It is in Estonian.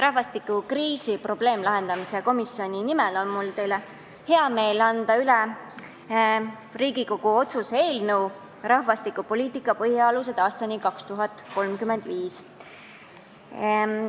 Rahvastikukriisi lahendamise probleemkomisjoni nimel on mul hea meel anda teile üle Riigikogu otsuse "Rahvastikupoliitika põhialused aastani 2035" eelnõu.